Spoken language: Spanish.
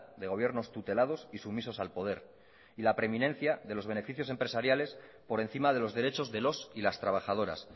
de gobiernos tutelados y sumisos al poder y la preeminencia de los beneficios empresariales por encima de los derechos de los y las trabajadoras